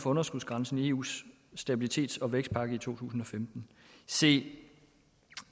for underskudsgrænsen i eus stabilitets og vækstpagt i to tusind og femten se